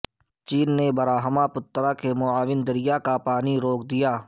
چین نے براہما پترا کے معاون دریا کا پانی روک دیا